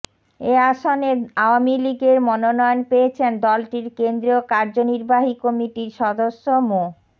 এ আসনে আওয়ামী লীগের মনোনয়ন পেয়েছেন দলটির কেন্দ্রীয় কাযনির্বাহী কমিটির সদস্য মো